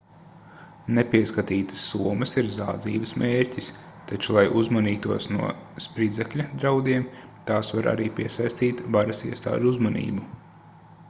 nepieskatītas somas ir zādzības mērķis taču lai uzmanītos no spridzekļa draudiem tās var arī piesaistīt varas iestāžu uzmanību